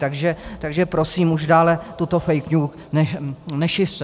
Takže prosím, už dále toto fake news nešiřte.